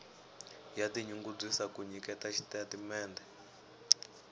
ya tinyungubyisa ku nyiketa xitatimendhe